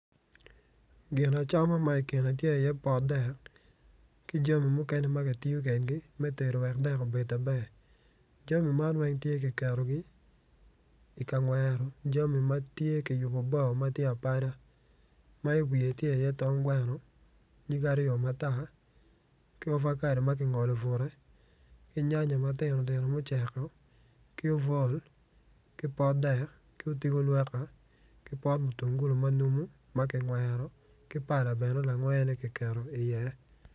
Gin acama ma i kine tye iye potdek ki jami mukene ma ki tiyo kedgi wek dek obed maber jami man weng tye ki ketogi i ka ngwero jami ma tye ki yubu bao ma tye apada ma i wiye tye tonggweno nyigge aryo matar ki ovakedo ma ki ngolo bute ki nyanya matini tino muceko ki obwol ki potdek ki otigo lwoka ki pot mutungulu ma numo ma ki ngwero ki pala bene langene kiketo iye